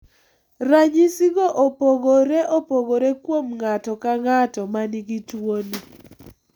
Ranyisigo opogore opogore kuom ng'ato ka ng'ato ma nigi tuwoni.